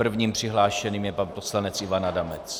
Prvním přihlášeným je pan poslanec Ivan Adamec.